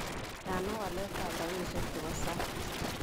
Tiana waletab rabisiek chebosang